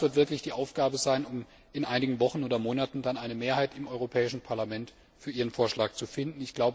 Ich denke, das wird wirklich die Aufgabe sein, um in einigen Wochen oder Monaten eine Mehrheit im Europäischen Parlament für Ihren Vorschlag zu finden.